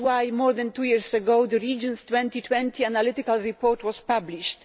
That is why, more than two years ago, the Regions 2020 analytical report was published.